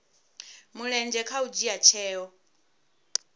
mulenzhe kha u dzhia tsheo